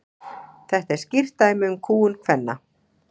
þetta er skýrt dæmi um kúgun kvenna